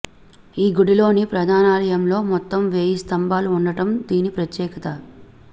ఈ గుడిలోని ప్రధానాలయంలో మొత్తం వేయి స్తంభాలు ఉండడం దీని ప్రత్యేకత